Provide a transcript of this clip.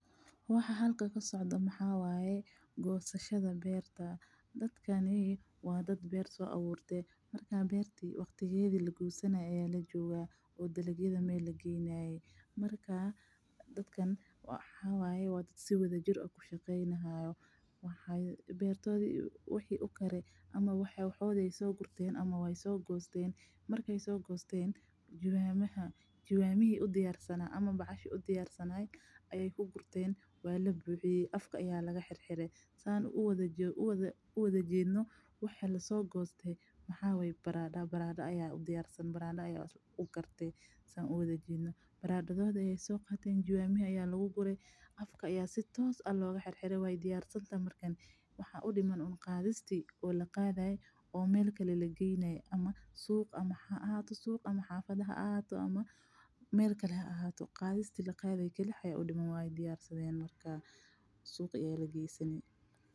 Waxaa halkan kasocdaa waxaa waye gosashada beerta waqtiga lagoosanaayo ayaa lagaare waa dad si wadajir ah ushaqeeysato waxooda ayeeywsoo gosteen jawanaha ayaa lagu gure barada waye waxa aay soo gurteen waay diyaarsadeen waxa udiman waa qadista bes iyo in suuqa la geeyo.